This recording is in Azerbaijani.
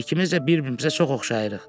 İkimiz də bir-birimizə çox oxşayırıq.